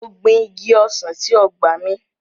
Mo gbin Igi ọsàn sí ọgbà mi.